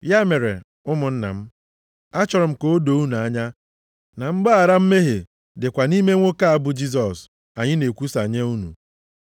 “Ya mere, ụmụnna m, achọrọ m ka o doo unu anya na mgbaghara mmehie dịkwa nʼime nwoke a, bụ Jisọs, anyị na-ekwusa nye unu.